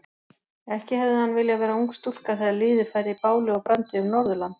Ekki hefði hann viljað vera ung stúlka þegar liðið færi báli og brandi um Norðurland.